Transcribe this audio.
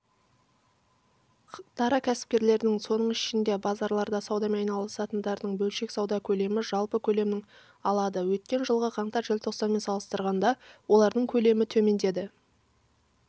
дара кәсіпкерлердің соның ішінде базарларда саудамен айналысатындардың бөлшек сауда көлемі жалпы көлемнің алады өткен жылғы қаңтар-желтоқсанмен салыстырғанда олардың көлемі төмендеді